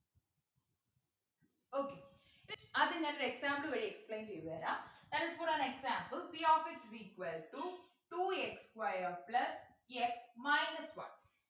okay ആദ്യം ഞാനൊരു example വഴി explain ചെയ്തു തരാ that is for an example p of x is equal to two x square plus x minus one